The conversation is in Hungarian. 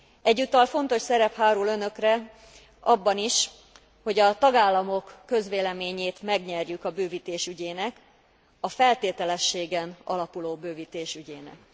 Egyúttal fontos szerep hárul Önökre abban is, hogy a tagállamok közvéleményét megnyerjük a bővítés ügyének, a feltételességen alapuló bővítés ügyének.